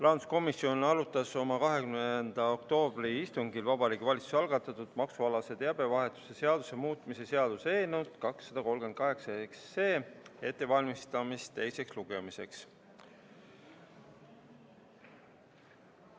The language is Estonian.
Rahanduskomisjon arutas oma 20. oktoobri istungil Vabariigi Valitsuse algatatud maksualase teabevahetuse seaduse muutmise seaduse eelnõu 238 ettevalmistamist teiseks lugemiseks.